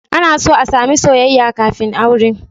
Ana so a sami soyayya kafin aure